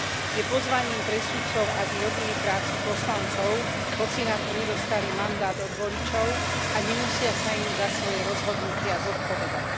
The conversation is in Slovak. Je pozvaním pre sudcov, aby robili prácu poslancov, hoci na to nedostali mandát od voličov a nemusia sa im za svoje rozhodnutia zodpovedať.